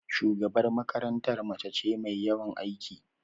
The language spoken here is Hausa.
Shugabar makarantar mace ce mai yawan aiki.